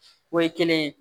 O ye kelen ye